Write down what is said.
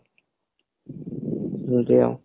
ଏମିତି ଆଉ